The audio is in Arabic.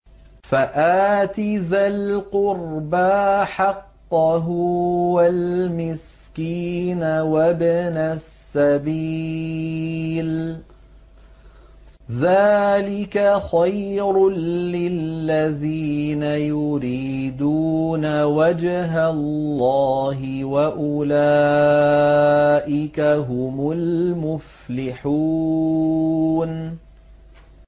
فَآتِ ذَا الْقُرْبَىٰ حَقَّهُ وَالْمِسْكِينَ وَابْنَ السَّبِيلِ ۚ ذَٰلِكَ خَيْرٌ لِّلَّذِينَ يُرِيدُونَ وَجْهَ اللَّهِ ۖ وَأُولَٰئِكَ هُمُ الْمُفْلِحُونَ